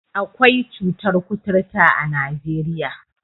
Akwai cutar kuturta a Najeriya.